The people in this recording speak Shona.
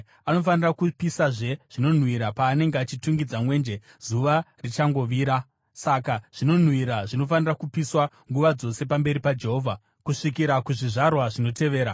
Anofanira kupisazve zvinonhuhwira paanenge achitungidza mwenje zuva richangovira saka zvinonhuhwira zvinofanira kupiswa nguva dzose pamberi paJehovha kusvikira kuzvizvarwa zvinotevera.